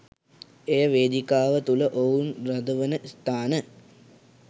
එය වේදිකාව තුළ ඔවුන් රඳවන ස්ථාන